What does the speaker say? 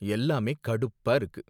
எல்லாமே கடுப்பா இருக்கு.